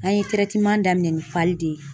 An ye daminɛ ni de ye